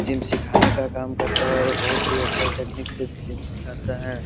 Gym सिखाने का काम करता है और बहुत ही अच्छा-अच्छा टेक्नीक से जिम सीखाता है।